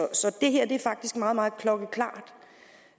det her er faktisk klokkeklart